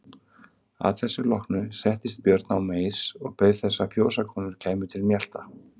Að þessu loknu settist Björn á meis og beið þess að fjósakonur kæmu til mjalta.